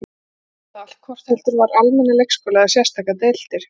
Barnið truflaði allt, hvort heldur var almennan leikskóla eða sérstakar deildir.